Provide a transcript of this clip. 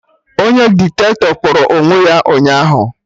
Onye Diktatọ kpọrọ onwe ya ụnyaahụ